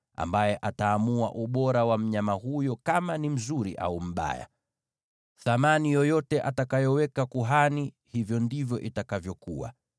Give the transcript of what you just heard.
ambaye ataamua ubora wa mnyama huyo, kama ni mzuri au mbaya. Thamani yoyote atakayoweka kuhani, hivyo ndivyo itakavyokuwa.